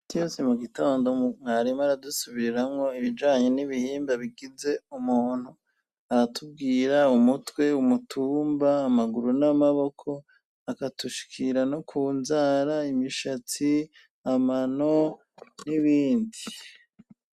iti yose mu gitondo mwarimu aradusubiriramwo ibijanye n'ibihimba bigize umuntu aratubwira umutwe umutumba amaguru n'amaboko akatushikira no ku nzara imishatsi amano n'ibindi